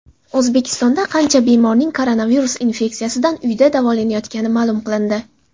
O‘zbekistonda qancha bemorning koronavirus infeksiyasidan uyda davolanayotgani ma’lum qilindi.